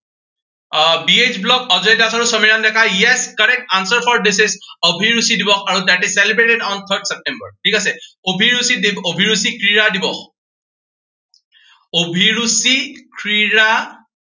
আহ B H blog, Ajay Das আৰু Samiran Deka, yes correct answer for this is অভিৰুচি দিৱস আৰু this is celebrated on fifth September ঠিক আছে। অভিৰুচি ক্ৰীড়া দিৱস। অভিৰুচি ক্ৰীড়া আহ দিৱস